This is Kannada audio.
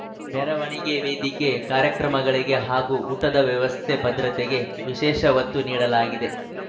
ಮೆರವಣಿಗೆ ವೇದಿಕೆ ಕಾರ್ಯಕ್ರಮಮಳಿಗೆ ಹಾಗೂ ಊಟದ ವ್ಯವಸ್ಥೆ ಭದ್ರತೆಗೆ ವಿಶೇಷ ಒತ್ತು ನೀಡಲಾಗಿದೆ